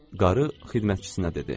Qarı xidmətçisinə dedi.